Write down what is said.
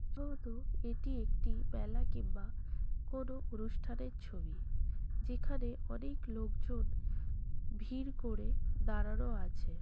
যতদূর এটি একটি মেলা কিংবা কোন অনুষ্ঠানের ছবি যেখানে অনেক লোকজন ভিড় করে দাঁড়ানো আছে